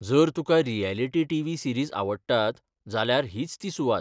जर तुका reality T. V. Series आवडटात जाल्यारहीच ती सुवात.